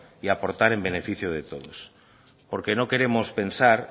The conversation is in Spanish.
y aportar en beneficio de todos porque no queremos pensar